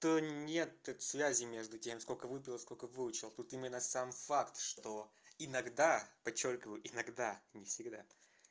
то нет тут связи между тем сколько выпил и сколько выучил тут именно сам факт что иногда подчёркиваю иногда не всегда